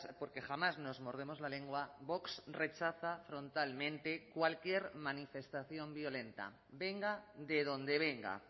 porque jamás nos mordemos la lengua vox rechaza frontalmente cualquier manifestación violenta venga de donde venga